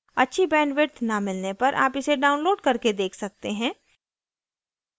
अच्छी bandwidth न मिलने पर आप इसे download करके देख सकते हैं